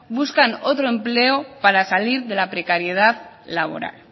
buscan otro empleo para salir de la precariedad laboral